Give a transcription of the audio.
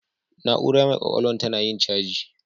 Na'ura mai ƙwaƙwalwan tana yin caji.